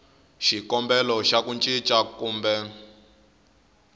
xikombelo xa ku cinca kumbe